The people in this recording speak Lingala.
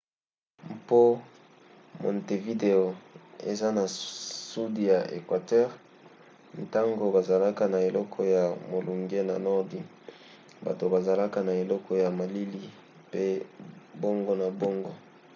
mpo montevideo eza na sudi ya equateur ntango bazalaka na eloko ya molunge na nordi bato bazalaka na eleko ya malili pe bongo na bongo